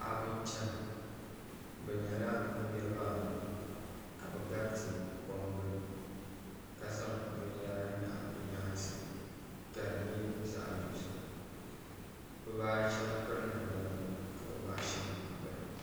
paɣ' n chɛna bi nyɛla b niribaayi ka be garitɛ kom gbani la zaŋ bɛni yara nyɛgi be nyɛsi ka di nyɛ zaɣ' dozim bi baashɛm pɛri namda nima ka bi baashɛm bi pɛri